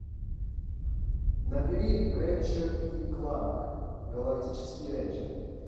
набери рэтчет и кланк галактические рейнджеры